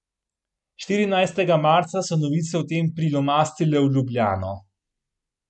Štirinajstega marca so novice o tem prilomastile v Ljubljano.